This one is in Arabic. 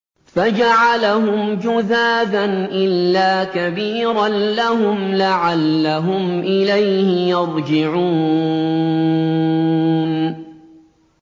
فَجَعَلَهُمْ جُذَاذًا إِلَّا كَبِيرًا لَّهُمْ لَعَلَّهُمْ إِلَيْهِ يَرْجِعُونَ